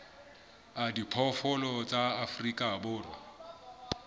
a diphoofolo tsa afrika borwa